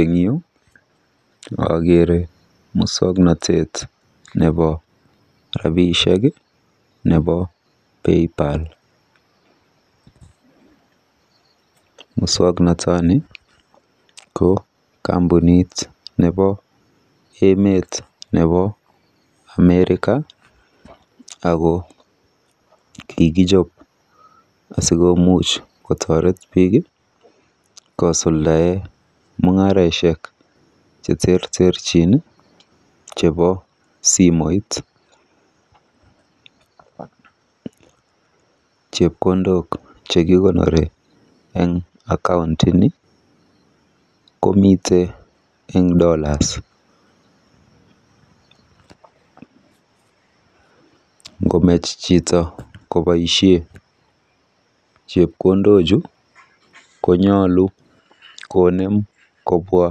Eng yu akeere muswoknotet nebo rabiinik nebo paypal. Muswoknotoni ko kampunit nebo emet nebo Amerika ako kikichob asikoomuch kotoret biik kosuldae mung'areshek cheterterchin chebo simoit. Chepkondok chekikonori eng akaunt ini komitei eng Dollors. Ngomech chito koboisie chepkondochu konyolu koonem kobwa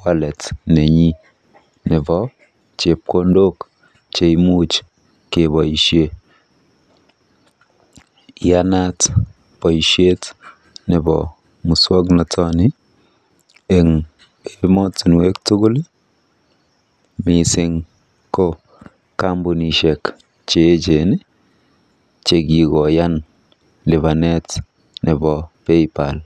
wallet ninyi nebo chepkondok cheimuch keboisie. Iyanat boisiet nebo muswoknotoni eng emotinwek tugul mising ko eng kampunishek cheechen chekikoyan lipanet nebo Paypal.